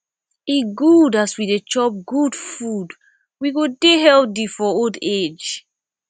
e good as we dey chop good food we go dey healthy for old age